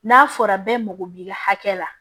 N'a fɔra bɛɛ mago b'i ka hakɛ la